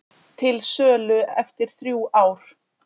Til sölu eftir þrjú ár